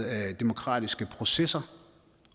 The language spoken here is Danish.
demokratiske processer